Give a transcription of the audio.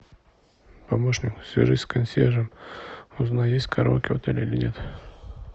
помощник свяжись с консьержем узнай есть караоке или нет